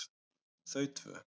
Þau tvö